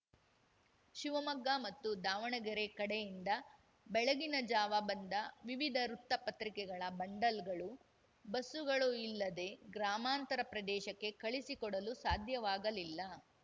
ಶಿವಮೊಗ್ಗ ಮತ್ತು ದಾವಣಗೆರೆ ಕಡೆಯಿಂದ ಬೆಳಗಿನ ಜಾವ ಬಂದ ವಿವಿಧ ವೃತ್ತ ಪತ್ರಿಕೆಗಳ ಬಂಡಲ್‌ಗಳು ಬಸ್ಸುಗಳು ಇಲ್ಲದೆ ಗ್ರಾಮಾಂತರ ಪ್ರದೇಶಕ್ಕೆ ಕಳುಹಿಸಿಕೊಡಲು ಸಾಧ್ಯವಾಗಲಿಲ್ಲ